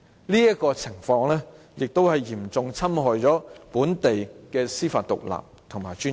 這情況亦嚴重侵害本地的司法獨立和尊嚴。